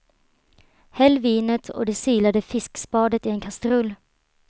Häll vinet och det silade fiskspadet i en kastrull.